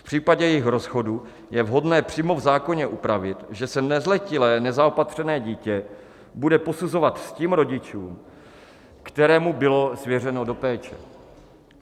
V případě jejich rozchodu je vhodné přímo v zákoně upravit, že se nezletilé nezaopatřené dítě bude posuzovat s tím rodičem, kterému bylo svěřeno do péče.